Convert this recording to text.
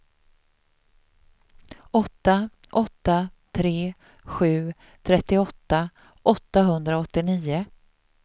åtta åtta tre sju trettioåtta åttahundraåttionio